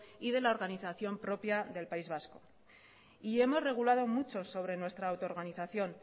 y de la organización propia del país vasco y hemos regulado mucho sobre nuestra autoorganización